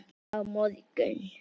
Á morgun